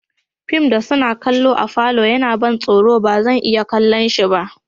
Fim da suna kalla a'falo ya na ban soro ba zan iya kalle si ba.